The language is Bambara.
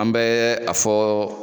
An bɛ a fɔ